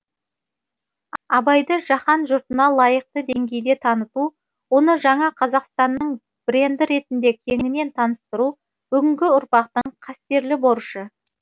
абайды жаһан жұртына лайықты деңгейде таныту оны жаңа қазақстанның бренді ретінде кеңінен таныстыру бүгінгі ұрпақтың қастерлі борышы